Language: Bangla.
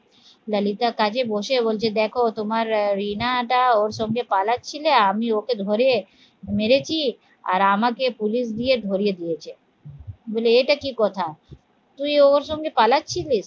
ললিতার কাজে বসে বলছে দেখো তোমার আহ রিনা দা ওর সঙ্গে পালাচ্ছিলে আমি ওকে ধরে মেরেছি আর আমাকে পুলিশ দিয়ে ধরিয়ে দিয়েছে বলি এটা কি কথা? তুই ওর সঙ্গে পালাচ্ছিলি?